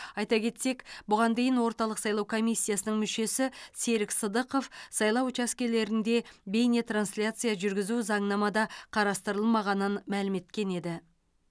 айта кетсек бұған дейін орталық сайлау комиссиясының мүшесі серік сыдықов сайлау учаскелерінде бейнетрансляция жүргізу заңнамада қарастырылмағанын мәлім еткен еді